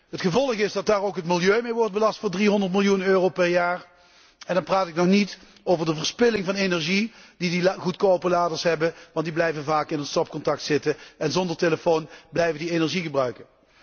Het gevolg is dat daar ook het milieu mee wordt belast voor 300 miljoen euro per jaar en dan praat ik nog niet over de verspilling van energie die deze goedkope laders veroorzaken, want deze laders blijven vaak in het stopcontact zitten en zonder telefoon blijven ze energie gebruiken.